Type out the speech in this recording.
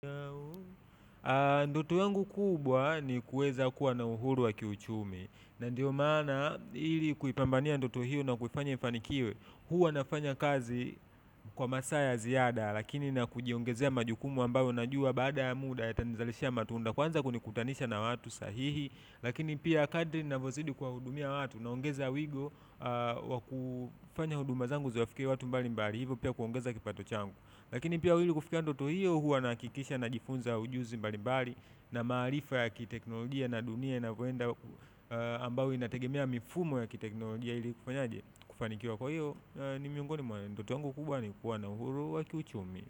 Ndoto yangu kubwa ni kuweza kuwa na uhuru wa kiuchumi na ndio mana ili kuipambania ndoto hiyo na kuifanya ifanikiwe huwa nafanya kazi kwa masaa ya ziada lakini na kujiongezea majukumu ambayo najua baada ya muda yatanizalisha matunda kwanza kunikutanisha na watu sahihi lakini pia kadri ninavyozidi kuwahudumia watu naongeza wigo wa kufanya huduma zangu ziwafikie watu mbalimbali hivyo pia kuongeza kipato changu. Lakini pia ili kufikia ndoto hiyo huwa nahakikisha najifunza ujuzi mbalimbali na maarifa ya kiteknolojia na dunia ambao inategemea mifumo ya kiteknolojia hili kufanyaje, kufanikiwa kwa hivyo ni miongoni mwa ndoto yangu kubwa ni kuwa na uhuru wa kiuchumi.